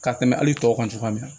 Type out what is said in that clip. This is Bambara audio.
Ka tɛmɛ hali tɔw kan cogoya min na